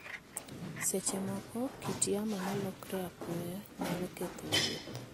Seche moko, kit yamo ma lokore apoya nyalo ketho wuoth.